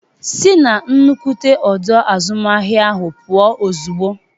Sị na nnukwu ọdọ azụmahịa ahụ pụọ ozugbo!